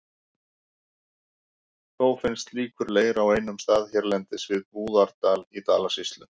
Þó finnst slíkur leir á einum stað hérlendis, við Búðardal í Dalasýslu.